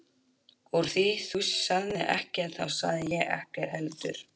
Úr því þú sagðir ekkert þá sagði ég ekkert heldur.